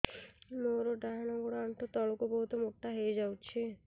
ମୋର ଡାହାଣ ଗୋଡ଼ ଆଣ୍ଠୁ ତଳକୁ ବହୁତ ମୋଟା ହେଇଯାଉଛି